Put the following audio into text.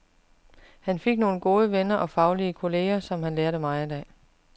Han fik nogle gode venner og faglige kolleger, som han lærte meget af.